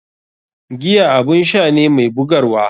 Giya abun sha ne mai bugarwa.